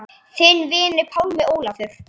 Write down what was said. Þinn vinur, Pálmi Ólafur.